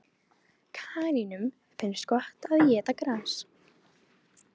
Kanínum finnst gott að éta gras.